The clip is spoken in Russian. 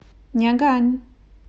нягань